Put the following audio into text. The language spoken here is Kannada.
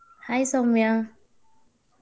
Hai ಸೌಮ್ಯಾ.